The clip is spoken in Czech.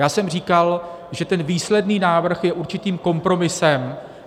Já jsem říkal, že ten výsledný návrh je určitým kompromisem.